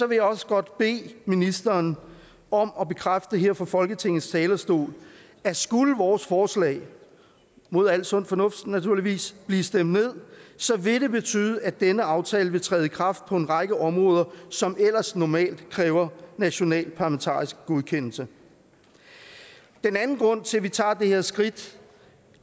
vil jeg også godt bede ministeren om at bekræfte her fra folketingets talerstol at skulle vores forslag mod al sund fornuft naturligvis blive stemt ned vil det betyde at denne aftale vil træde i kraft på en række områder som ellers normalt kræver national parlamentarisk godkendelse den anden grund til at vi tager det her skridt